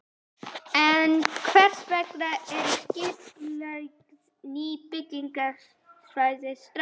En hvers vegna eru ekki skipulögð ný byggingarsvæði strax?